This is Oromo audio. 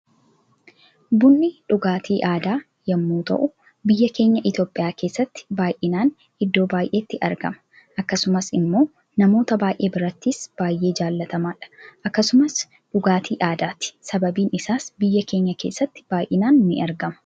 Bunni dhugaatii aadaa yommuu ta'u biyya keenya Itoophiya keessatti baay'inan iddo baay'eetti argama akkasumas immoo namoota baay'ee birattis baay'ee jaallatamaadha akkasumas dhugaatii aadaati sababni isaas biyya keenya keessatti baay'inan ni argama.